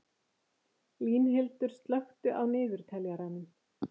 Línhildur, slökktu á niðurteljaranum.